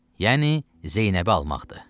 Yəni Zeynəbi almaqdır.